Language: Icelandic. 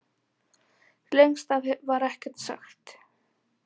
Lengst af var ekkert sagt.